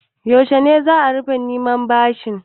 Yaushe za a rufe neman bashin?